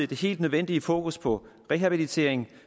det helt nødvendige fokus på rehabiliteringen